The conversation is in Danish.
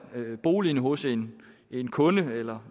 boligen hos en en kunde eller